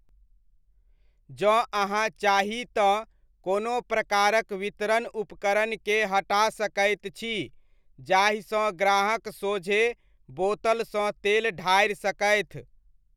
जँ अहाँ चाही तँ कोनो प्रकारक वितरण उपकरणके हटा सकैत छी जाहिसँ ग्राहक सोझे बोतलसँ तेल ढारि सकथि।